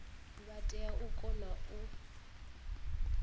vha tea u kona u